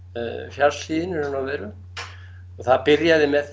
fjallshlíðinni í raun og veru og það byrjaði með